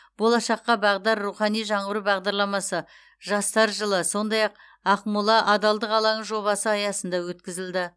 болашаққа бағдар рухани жаңғыру бағдарламасы жастар жылы сондай ақ ақмола адалдық алаңы жобасы аясында өткізілді